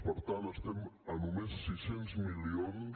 per tant estem a només sis cents milions